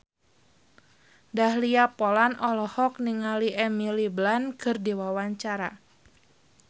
Dahlia Poland olohok ningali Emily Blunt keur diwawancara